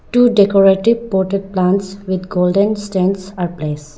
Two decorative poted plants with golden stands are placed.